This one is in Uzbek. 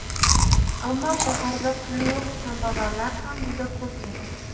Ammo shaharda puli yo‘q kambag‘allar ham juda ko‘p edi.